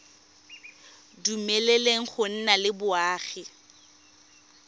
dumeleleng go nna le boagi